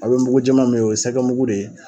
A bɛ mugu jɛman min ye o ye sɛgɛ mugu de ye.